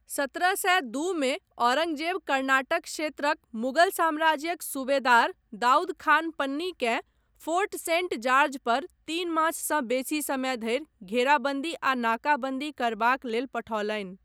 सत्रह सए दू मे औरङ्गजेब कर्नाटक क्षेत्रक मुगल साम्राज्यक सुबेदार दाऊद खान पन्नीकेँ फोर्ट सेंट जार्ज पर तीन माससँ बेसी समय धरि घेराबन्दी आ नाकाबन्दी करबाक लेल पठौलनि।